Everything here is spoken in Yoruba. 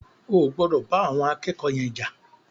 O ò gbọdọ̀ bá àwọn akẹ́kọ̀ọ́ yen jà.